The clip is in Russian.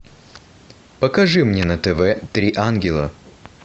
покажи мне на тв три ангела